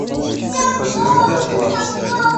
подтверди оплату